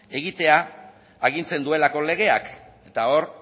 egitea agintzen duelako legeak eta hor